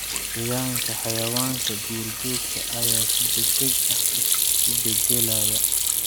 Deegaanka xayawaanka duurjoogta ayaa si degdeg ah isu beddelaya.